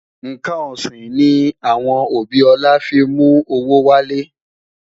nkán osin ni awọn obi ola fi mú owó wale